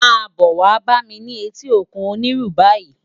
Má bò wá bá mi ni éti ókún Oniru bàyi